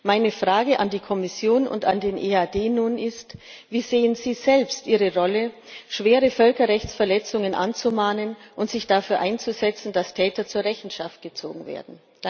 Meine Frage an die Kommission und an den EAD ist nun Wie sehen Sie selbst Ihre Rolle, schwere Völkerrechtsverletzungen anzumahnen und sich dafür einzusetzen, dass Täter zur Rechenschaft gezogen werden?